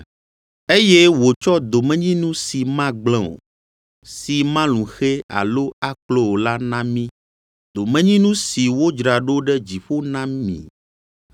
Eye wòtsɔ domenyinu si magblẽ o, si malũ xɛ alo aklo o la na mí, domenyinu si wodzra ɖo ɖe dziƒo na mi,